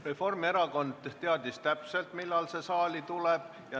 Reformierakond teadis täpselt, millal ettepanek saali tuleb.